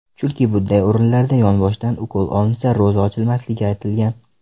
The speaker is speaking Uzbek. Chunki bunday o‘rinlarda yonboshdan ukol olinsa ro‘za ochilmasligi aytilgan.